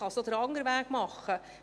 Man kann es auch andersrum machen: